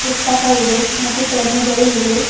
ಪುಸ್ತಕ ಇದೆ ಮತ್ತು ಪೆನ್ನುಗಳು ಇವೆ.